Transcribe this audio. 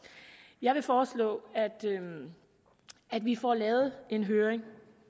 jeg vil foreslå at vi får lavet en høring